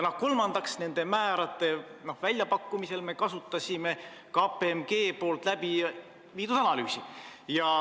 Kolmandaks, nende määrade väljapakkumisel me kasutasime KPMG analüüsi.